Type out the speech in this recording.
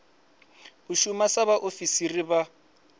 u shuma sa vhaofisiri vha